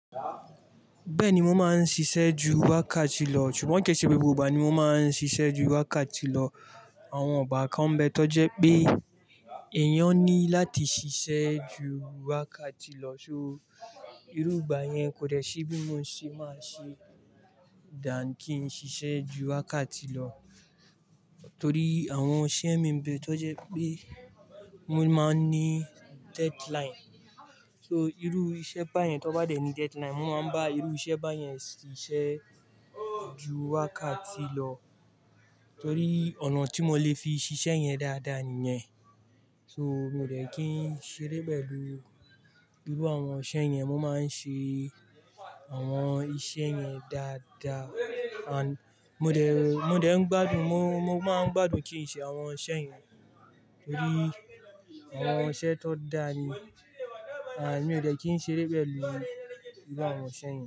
Bẹ́ẹ̀ni, mo máa ń ṣiṣẹ́ ju wákàtí lọ, ṣùgbọ́n kò ṣe gbogbo ìgbà ni mo máa ń ṣiṣẹ́ ju wákàtí lọ. Àwọn ìgbà kan n bẹ́ tọ́ jẹ́ pé èèyàn ní láti ṣiṣẹ́ ju wákàtí lọ, so, irú ìgbà yẹn kò dẹ́ṣí bí mo ṣe máa ṣe than kin ṣiṣẹ́ ju wákàtí lọ torí àwọn iṣẹ́ mii ń bẹ́ tọ́ jẹ́ pé mo máa ń ní deadline. So, irú iṣẹ́ bá yẹn tó bá dẹ́ ni deadline, mo máa ń bá irú iṣẹ́ bá yẹn ṣiṣẹ́ ju wákàtí lọ, torí ọ̀nà tí mo lè fi ṣiṣẹ́ yẹn dáadáa nìyẹn. So, mo ò dẹ́ kin ṣeré pẹ̀lú irú àwọn iṣẹ́ yẹn, mo máa ń ṣe àwọn iṣẹ́ yẹn dáadáa and mo dẹ̀, mo dẹ̀ ń gbádùn, mo, mo máa ń gbádùn kin ṣe àwọn iṣẹ́ yẹn torí àwọn iṣẹ́ tó dáa ni and mi ò dẹ́ kin ṣeré pẹ̀lú irú àwọn iṣẹ́ yẹn.